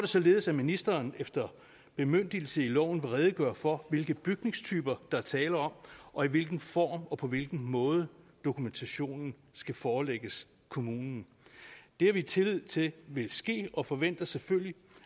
således at ministeren efter bemyndigelse i loven vil redegøre for hvilke bygningstyper der er tale om og i hvilken form og på hvilken måde dokumentationen skal forelægges kommunen det har vi tillid til vil ske og forventer selvfølgelig